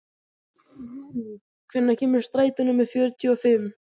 Júní, hvenær kemur strætó númer fjörutíu og fimm?